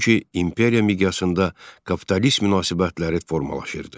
Çünki imperiya miqyasında kapitalist münasibətləri formalaşırdı.